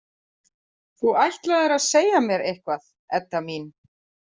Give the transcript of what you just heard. Þú ætlaðir að segja mér eitthvað, Edda mín.